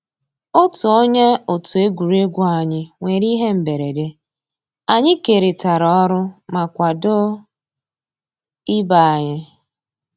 Ótú ónyé ótú égwurégwu ànyị́ nwèrè íhé mbérèdé, ànyị́ kérị́tárá ọ́rụ́ má kwàdó ìbé ànyị́.